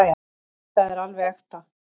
Þetta er alveg ekta.